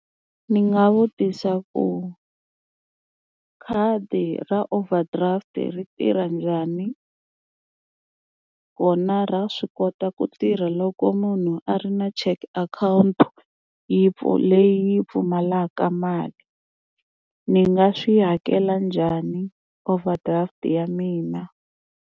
Ni nga vutisa ku khadi ra overdraft ri tirha njhani kona ra swi kota ku tirha loko munhu a ri na check akhawunti yi leyi pfumalaka mali ni nga swi hakela njhani overdraft ya mina.